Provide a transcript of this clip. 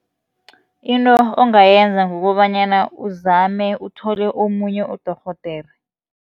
Into ongayenza kukobanyana uzame uthole omunye udorhodere.